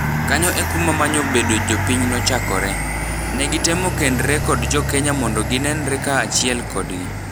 Kanyo ekuma manyo bedo jopiny nochakore. Negitemo kendre kod jokenya mondo ginenre ka achiel kodgi.